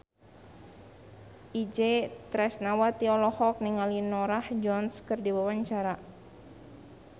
Itje Tresnawati olohok ningali Norah Jones keur diwawancara